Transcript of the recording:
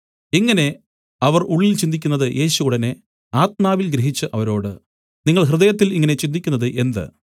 ഇങ്ങനെ അവർ ഉള്ളിൽ ചിന്തിക്കുന്നത് യേശു ഉടനെ ആത്മാവിൽ ഗ്രഹിച്ചു അവരോട് നിങ്ങൾ ഹൃദയത്തിൽ ഇങ്ങനെ ചിന്തിക്കുന്നത് എന്ത്